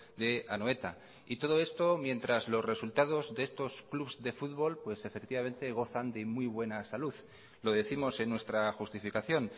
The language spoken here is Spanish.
de anoeta y todo esto mientras los resultados de estos clubes de fútbol pues efectivamente gozan de muy buena salud lo décimos en nuestra justificación